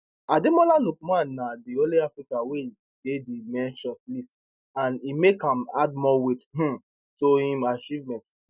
ademola lookman na di only african wey dey di men shortlist and e make am add more weight um to im achievement